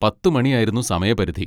പത്ത് മണി ആയിരുന്നു സമയപരിധി.